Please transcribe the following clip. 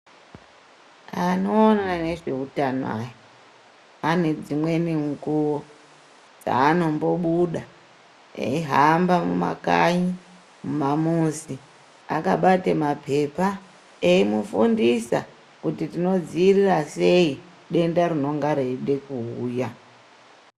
Anoona nezveutano aya, ,ane dzimweni mukuwo dzeanombobuda eihamba mumakanyi mumamuzi, akabate maphepha, eimufundisa, kuti tinodziirira sei ,denda rinonga reide kuuya.